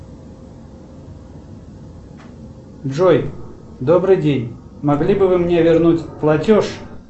джой добрый день могли бы вы мне вернуть платеж